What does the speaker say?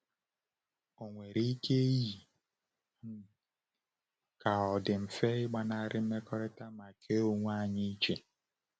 Ọ nwere ike iyi um ka ọ dị mfe ịgbanarị mmekọrịta ma kee onwe anyị iche.